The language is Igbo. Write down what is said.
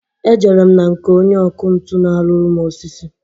E jere m na nke onye ọkụ ntu na-arụru m osisi.